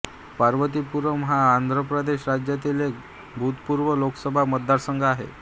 पार्वतीपुरम हा आंध्र प्रदेश राज्यातील एक भूतपूर्व लोकसभा मतदारसंघ आहे